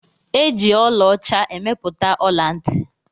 E ji ọla ọcha emepụta ọla-nti